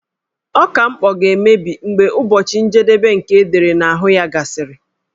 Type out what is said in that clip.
Ọka mkpọ ga-emebi mgbe ụbọchị njedebe nke edere n'ahụ ya gasịrị.